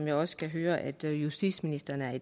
jeg også kan høre at justitsministeren er